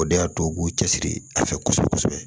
O de y'a to u k'u cɛsiri a fɛ kosɛbɛ kosɛbɛ